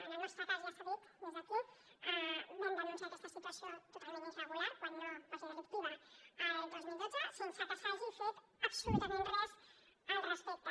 en el nostre cas ja s’ha dit des d’aquí vam denunciar aquesta situació totalment irregular quan no quasi delictiva el dos mil dotze sense que s’hagi fet absolutament res al respecte